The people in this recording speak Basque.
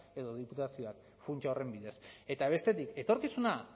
edo diputazioak funtsa horren bidez eta bestetik etorkizuna